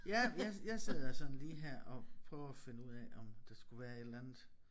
Ja jeg jeg sidder sådan lige her og prøver at finde ud af om der skulle være et eller andet